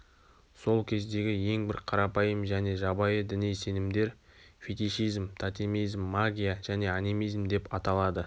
сол кездегі ең бір қарапайым және жабайы діни сенімдер фетишизм тотемизм магия және анимизм деп аталады